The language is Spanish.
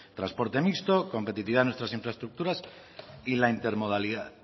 transporte mixto competitividad de nuestra infraestructuras y la intermodalidad